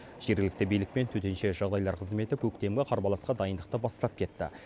жергілікті билік пен төтенше жағдайлар қызметі көктемгі қарбаласқа дайындықты бастап кетті